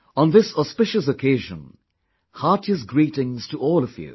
On this auspicious occasion, heartiest greetings to all of you